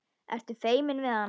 Ertu feiminn við hana?